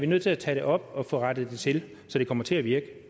nødt til at tage det op og få rettet det til så det kommer til at virke